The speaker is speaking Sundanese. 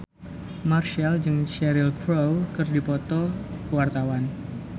Marchell jeung Cheryl Crow keur dipoto ku wartawan